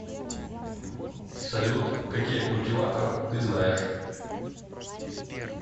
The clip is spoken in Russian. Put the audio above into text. салют какие культиватор ты знаешь